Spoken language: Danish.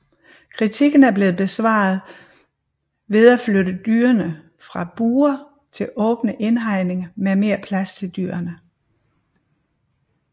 Kritiken er blevet besvaret ved at flytte dyrene fra bure til åbne indhegninger med mere plads til dyrene